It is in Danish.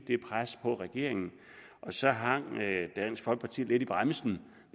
det pres på regeringen så hang dansk folkeparti lidt i bremsen